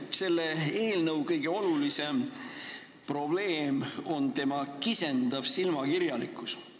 Selle eelnõu kõige olulisem probleem on tema kisendav silmakirjalikkus.